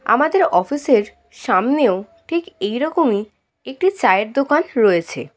আমাদের অফিস -এর সামনেও ঠিক এই রকমই একটি চায়ের দোকান রয়েছে।